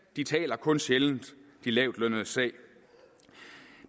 de taler kun sjældent de lavtlønnedes sag